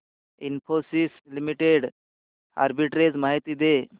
Infosys limited arbitrage माहिती दे